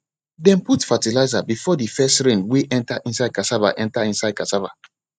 dem put fertilizer before the first rain wey enter inside cassava enter inside cassava